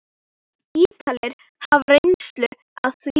Ítalir hafa reynslu af því.